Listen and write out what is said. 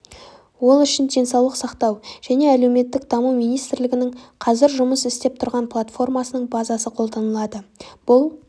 ол үшін денсаулық сақтау және әлеуметтік даму министрлігінің қазір жұмыс істеп тұрған платформасының базасы қолданылады бұл